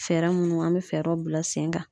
Fɛɛrɛ munnu an be fɛɛrɛw bila sen kan.